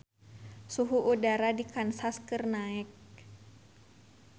Suhu udara di Kansas keur naek